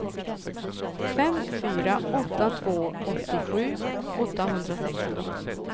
fem fyra åtta två åttiosju åttahundrasexton